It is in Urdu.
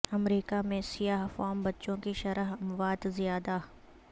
امریکہ میں سیاہ فام بچوں کی شرح اموات زیادہ